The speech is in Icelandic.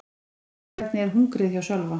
Hvernig er hungrið hjá Sölva?